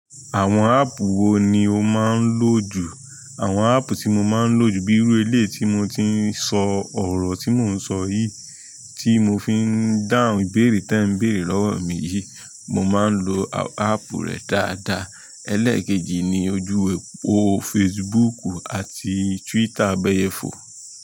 Àwọn áàpù wo ni o máa ń lò jù? Àwọn áàpù ti mọ̀ ma nlọ jù bí irú eléyìí tí mò ti n so ọ̀rọ̀ tí mò nsọ yìí, tí mo fi n dáhùn ìbéèrè te nbere lọ́wọ́ mí yìí, mò máa ń lọ áàpù rẹ dáadáa. Eléèkejì ni ojú e ọ̀pọ̀ Facebook àti Twitter abẹ́yẹ fò.